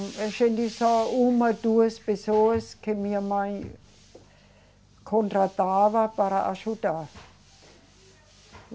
A gente só uma, duas pessoas que minha mãe contratava para ajudar.